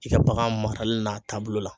I ka bagan marali n'a taabolo la